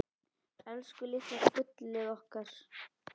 Elsku litla gullið okkar.